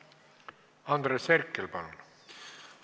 Andres Herkel, palun!